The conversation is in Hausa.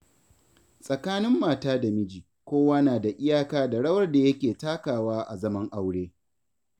Tsakanin mata da miji, kowa nada iyaka da rawar da yake takawa a zaman aure.